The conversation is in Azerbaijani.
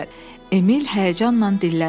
Emil həyəcanla dilləndi.